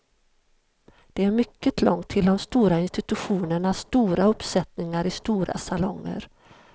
Det är mycket långt till de stora institutionernas stora uppsättningar i stora salonger.